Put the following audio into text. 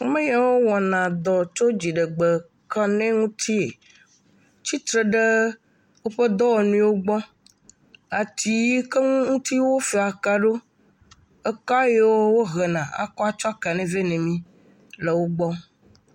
Ame yiwo wɔna dɔ tso dziɖegbe kaɖi ŋutie tsitre ɖe woƒe dɔwɔnuwo gbɔ, ati yi ke ŋuti wofaa ka ɖo, ke yiwo wohena atsɔ kaɖi vɛ na mi le wo gbɔ.